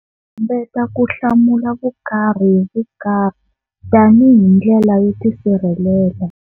Hambeta ku hlamula vukarhi hi vukarhi tani hindlela yo tisirhelela.